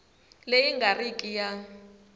leyi nga ri ki ya